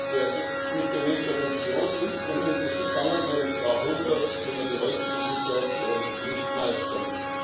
Mit dem Interventionsinstrument des vergangenen Jahrhunderts können wir die heutige Situation nicht meistern.